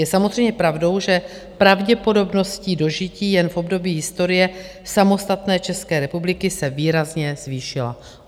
Je samozřejmě pravdou, že pravděpodobnost dožití jen v období historie samostatné České republiky se výrazně zvýšila.